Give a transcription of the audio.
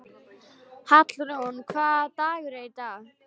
Hallrún, hvaða dagur er í dag?